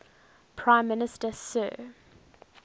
prime minister sir